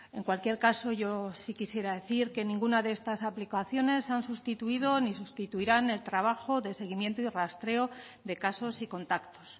en cualquier caso yo sí quisiera decir que ninguna de estas aplicaciones han sustituido ni sustituirán el trabajo de seguimiento y rastreo de casos y contactos